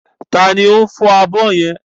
Ta ni ó ń fọ abọ́ yẹn?